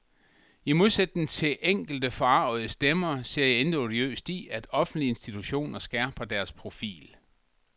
I modsætning til enkelte forargede stemmer ser jeg intet odiøst i, at offentlige institutioner skærper deres profil.